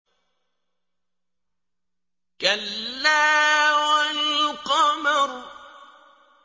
كَلَّا وَالْقَمَرِ